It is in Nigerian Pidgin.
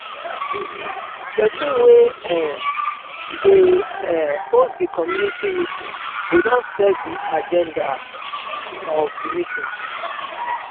person wey um dey um host di commumity meeting go don set di aganda um of di meeting